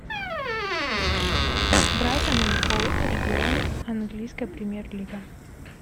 брайтон энд хоув альбион английская премьер лига